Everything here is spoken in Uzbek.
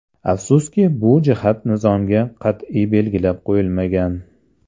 Afsuski, bu jihat nizomda qat’iy belgilab qo‘yilmagan.